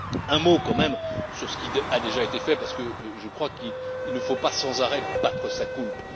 Un mot, quand même, sur ce qui a déjà été fait parce que je crois qu'il ne faut pas sans arrêt battre sa coulpe.